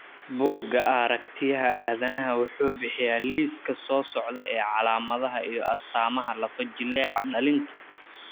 Bugga Aaragtiyaha Aadanaha wuxuu bixiyaa liiska soo socda ee calaamadaha iyo astaamaha lafo-jileeca dhallinta.